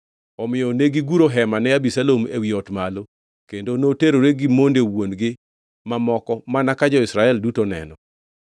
Omiyo negiguro hema ne Abisalom ewi ot malo kendo noterore gi monde wuon-gi mamoko mana ka jo-Israel duto neno.